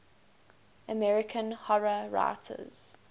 american horror writers